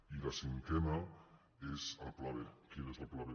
i la cinquena és el pla b quin és el pla b